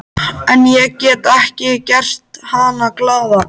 En ég get ekki gert hana glaða.